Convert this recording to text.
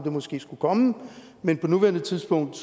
måske skulle komme men på nuværende tidspunkt